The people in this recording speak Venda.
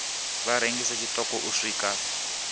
vha rengise tshiṱoko u swika